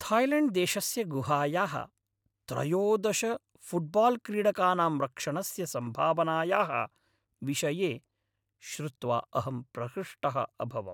थाय्लेण्ड्देशस्य गुहायाः त्रयोदश फुट्बाल्क्रीडकानां रक्षणस्य सम्भावनायाः विषये श्रुत्वा अहं प्रहृष्टः अभवम्।